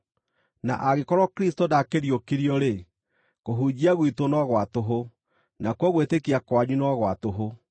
Na angĩkorwo Kristũ ndaakĩriũkirio-rĩ, kũhunjia gwitũ no gwa tũhũ, nakuo gwĩtĩkia kwanyu no gwa tũhũ.